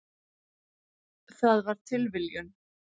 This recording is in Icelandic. Það var tilviljun.